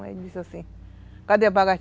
Ele disse assim, cadê a?